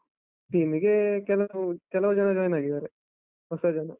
Team ಗೇ ಕೆಲವರು, ಕೆಲವ್ ಜನ join ಆಗಿದಾರೆ, ಹೊಸ ಜನ.